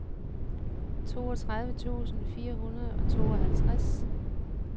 toogtredive tusind fire hundrede og tooghalvtreds